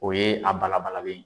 O ye a bala balalen ye.